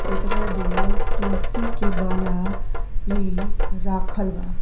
एकरा मे तुलसी के माला भी राखल बा।